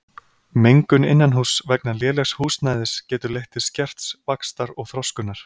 Mengun innanhúss vegna lélegs húsnæðis getur leitt til skerts vaxtar og þroskunar.